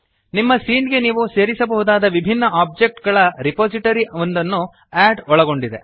ನಿಮ್ಮ ಸೀನ್ ಗೆ ನೀವು ಸೇರಿಸಬಹುದಾದ ವಿಭಿನ್ನ ಆಬ್ಜೆಕ್ಟ್ ಗಳ ರಿಪೊಸಿಟರಿ ಒಂದನ್ನು ಅಡ್ ಒಳಗೊಂಡಿದೆ